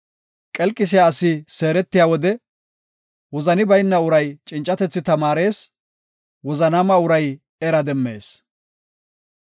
Qelqisiya asi seeretiya wode wozani bayna uray cincatethi tamaarees; wozanaama uray era demmees.